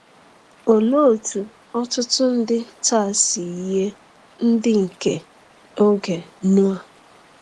Olee otú ọtụtụ ndị taa si yie ndị nke oge Noa?